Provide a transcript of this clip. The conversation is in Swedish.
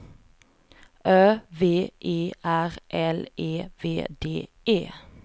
Ö V E R L E V D E